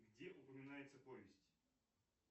где упоминается повесть